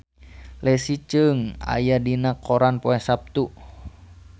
Leslie Cheung aya dina koran poe Saptu